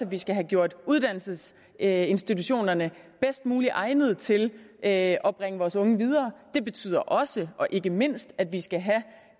vi skal have gjort uddannelsesinstitutionerne bedst muligt egnede til at at bringe vores unge videre det betyder også og ikke mindst at vi skal have